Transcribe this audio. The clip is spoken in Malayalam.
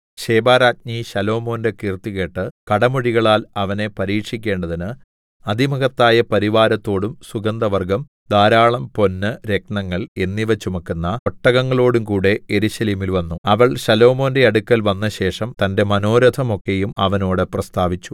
ശെബാരാജ്ഞി ശലോമോന്റെ കീർത്തി കേട്ട് കടമൊഴികളാൽ അവനെ പരീക്ഷിക്കേണ്ടതിന് അതിമഹത്തായ പരിവാരത്തോടും സുഗന്ധവർഗ്ഗം ധാരാളം പൊന്ന് രത്നങ്ങൾ എന്നിവ ചുമക്കുന്ന ഒട്ടകങ്ങളോടും കൂടെ യെരൂശലേമിൽ വന്നു അവൾ ശലോമോന്റെ അടുക്കൽ വന്നശേഷം തന്റെ മനോരഥം ഒക്കെയും അവനോട് പ്രസ്താവിച്ചു